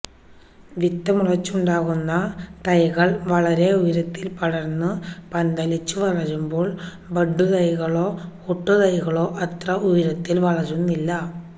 വിത്ത് മുളച്ചുണ്ടാകുന്ന തൈകള് വളരെ ഉയരത്തില് പടര്ന്നു പന്തലിച്ചു വളരുമ്പോള് ബഡ്ഡു തൈകളോ ഒട്ടുതൈകളോ അത്ര ഉയരത്തില് വളരുന്നില്ല